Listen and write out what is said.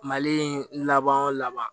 Mali in laban o laban